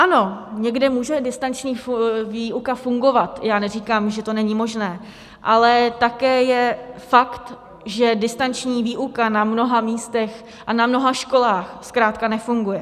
Ano, někde může distanční výuka fungovat, já neříkám, že to není možné, ale také je fakt, že distanční výuka na mnoha místech a na mnoha školách zkrátka nefunguje.